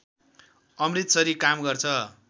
अमृतसरी काम गर्छ